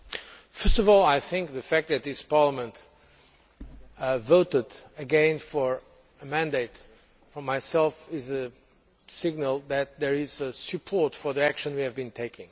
First of all, I think that the fact that this Parliament voted again for a mandate for myself is a signal that there is support for the action we have been taking.